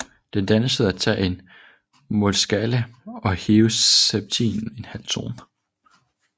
Den dannes ved at tage en molskala og hæve septimen en halvtone